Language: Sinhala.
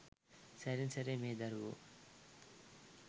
සැරින් සැරේ මේ දරුවෝ